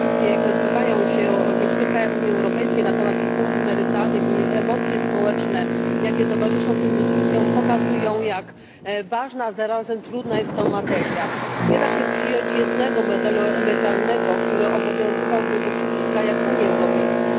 Dyskusje, jakie odbywają się w niektórych krajach Unii Europejskiej na temat systemów emerytalnych, i emocje społeczne, jakie towarzyszą tym dyskusjom, pokazują, jak ważna, a zarazem trudna jest to materia. Nie da się przyjąć jednego modelu emerytalnego, który obowiązywałby we wszystkich krajach Unii Europejskiej.